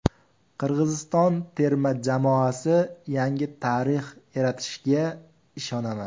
Qirg‘iziston terma jamoasi yangi tarix yaratishiga ishonaman.